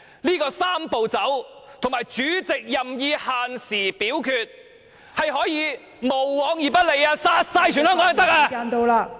這個"三步走"及主席任意限時表決，是可以無往而不利，殺了所有香港人也可以。